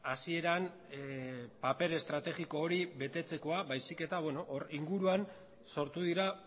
hasieran paper estrategiko hori betetzekoa baizik eta hor inguruan sortu dira